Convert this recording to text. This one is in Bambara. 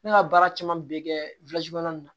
Ne ka baara caman bɛ kɛ nin na